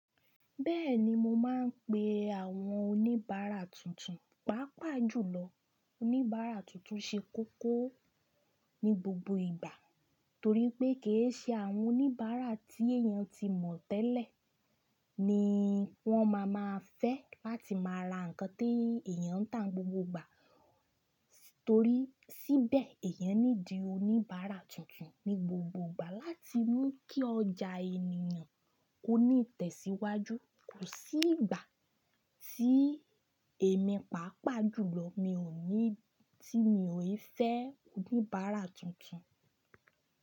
Bẹ́ẹ̀ni mo máa ń pe àwọn oníbàárà tuntun, pàápàá jùlọ oníbàárà tuntun ṣe kókó ní gbogbo ìgbà torí pé kì í ṣe àwọn oníbàárà tí èèyàn ti mọ̀ tẹ́lẹ̀ ni wọ́n ma máa fẹ́ láti máa ra nǹkan tí èèyàn ń tà n gbogbo ìgbà. Torí síbẹ̀ èèyàn need oníbàárà tuntun ní gbogbo ìgbà láti mú kí ọjà ènìyàn ó ní ìtẹ̀síwájú. Kò sí ìgbà tí èmi pàápàá jùlọ mi ò ní, tí mi ò i fẹ́ oníbàárà tuntun.